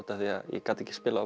af því ég gat ekki spilað á